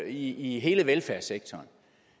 i hele velfærdssektoren